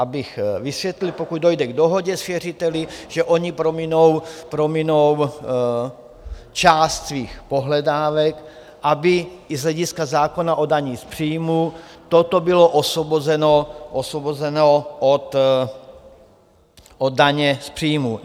Abych vysvětlil: pokud dojde k dohodě s věřiteli, že oni prominou část svých pohledávek, aby i z hlediska zákona o dani z příjmu toto bylo osvobozeno od daně z příjmu.